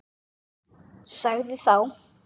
Sagði þá